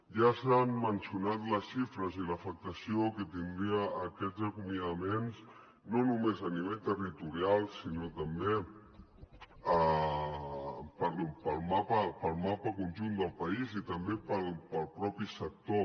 ja s’han mencionat les xifres i l’afectació que tindrien aquests acomiadaments no només a nivell territorial sinó també pel mapa pel mapa conjunt del país i també pel mateix sector